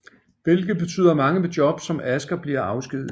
Hvilket betyder at mange med jobs som Asger bliver afskediget